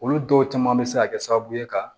Olu dɔw caman bɛ se ka kɛ sababu ye ka